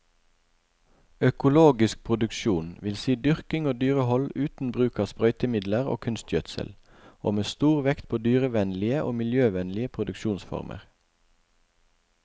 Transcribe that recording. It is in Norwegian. Økologisk produksjon vil si dyrking og dyrehold uten bruk av sprøytemidler og kunstgjødsel, og med stor vekt på dyrevennlige og miljøvennlige produksjonsformer.